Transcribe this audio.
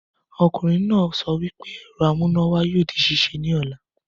Ọkunrin naa sọ wípé ẹ̀rọ amúnáwá yoo di ṣíṣe ni ọla.